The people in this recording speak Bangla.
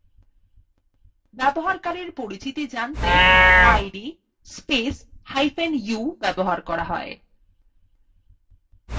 ব্যবহারকারীর পরিচিতি জানতে id spacehyphen u ব্যবহার করা হয়